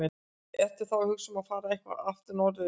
Ertu þá að hugsa um að fara aftur norður eða hvað?